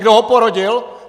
Kdo ho porodil?